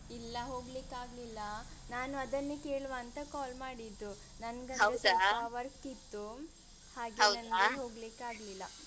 ಇಲ್ಲ ಹೋಗ್ಲಿಕ್ಕಾಗ್ಲಿಲ್ಲ ನಾನು ಅದನ್ನೆ ಕೇಳುವಾಂತ call ಮಾಡಿದ್ದು. ಸೊಲ್ಪ work ಇತ್ತು. ಹೋಗ್ಲಿಕ್ಕಾಗ್ಲಿಲ್ಲ.